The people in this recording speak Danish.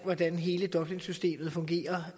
hvordan hele dublinsystemet fungerer